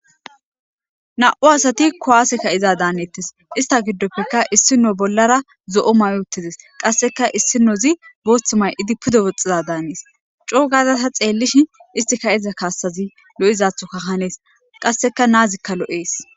na7u asati kowaasekka iza daaneettes ista giddopfeka issino bollara zo7o mayutides qasseka issinozi boothth may7idi pude woxxiza daanees coogaza ta xeellish istika iza kaassazi lo7izathuka hanees qasseka naazikka lo7ees